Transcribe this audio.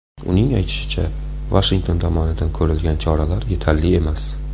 Uning aytishicha, Vashington tomonidan ko‘rilgan choralar yetarli emas.